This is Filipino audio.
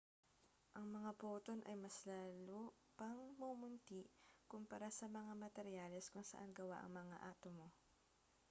ang mga poton ay mas lalo pang mumunti kumpara sa mga materyales kung saan gawa ang mga atomo